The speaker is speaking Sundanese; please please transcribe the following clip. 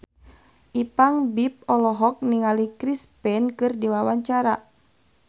Ipank BIP olohok ningali Chris Pane keur diwawancara